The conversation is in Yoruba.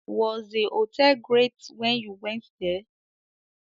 Was the hotel great when you went there?